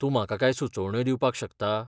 तूं म्हाका कांय सुचोवण्यो दिवपाक शकता?